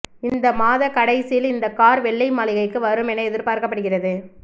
இந்த மாத கடைசியில் இந்த கார் வெள்ளை மாளிகைக்கு வரும் என எதிர்பார்க்கப்படுகிறது